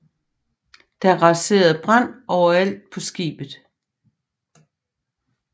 Der rasede brande overalt på skibet